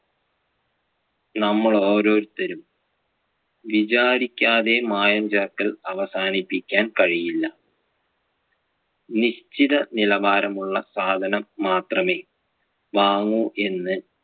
നമ്മൾ ഓരോരുത്തരും വിചാരിക്കാതെ മായം ചേർക്കൽ അവസാനിപ്പിക്കാൻ കഴിയില്ല. നിശ്ചിത നിലവാരം ഉള്ള സാധനം മാത്രമേ വാങ്ങു എന്ന്